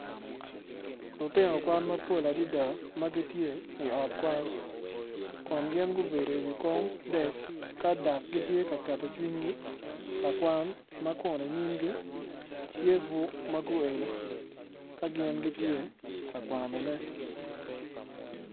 Lutino kwan mapol adada magitye i ot kwan kun gin gubedo i kom desk kadok gitye ka keto cwinygi kakwan ma kun inyimgi tye bur maguelo ka gin gitye kakwanone.